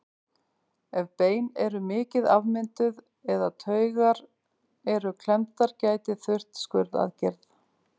Ef bein eru mikið afmynduð eða taugar eru klemmdar gæti þurft skurðaðgerð.